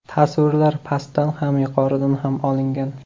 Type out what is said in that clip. Tasvirlar pastdan ham, yuqoridan ham olingan.